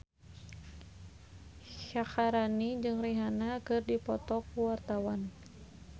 Syaharani jeung Rihanna keur dipoto ku wartawan